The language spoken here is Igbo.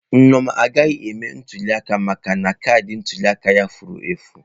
Nneoma agaghị eme ntuliaka maka na kaadị ntuli aka ya furu efụ.